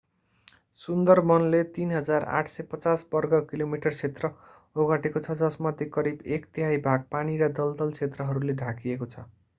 सुन्दरवनले 3,850 वर्ग किलोमिटर क्षेत्रफल ओगटेको छ जसमध्ये करिब एक तिहाइ भाग पानी र दलदल क्षेत्रहरूले ढाकिएको छ